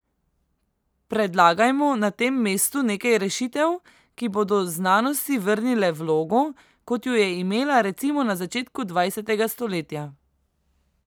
Predlagajmo na tem mestu nekaj rešitev, ki bodo znanosti vrnile vlogo, kot jo je imela recimo na začetku dvajsetega stoletja.